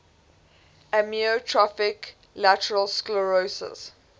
amyotrophic lateral sclerosis